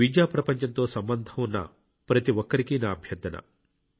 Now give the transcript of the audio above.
విద్యా ప్రపంచంతో సంబంధం ఉన్న ప్రతి ఒక్కరికీ నా అభ్యర్థన